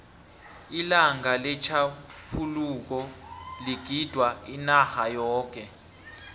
ilanga letjhaphuluko ligidingwa inarha yoke